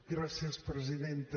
gràcies presidenta